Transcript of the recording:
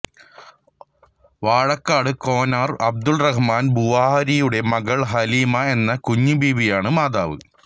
വാഴക്കാട് കൊന്നാര് അബ്ദുർറഹ്മാൻ ബുഖാരിയുടെ മകൾ ഹലീമ എന്ന കുഞ്ഞി ബീവിയാണ് മാതാവ്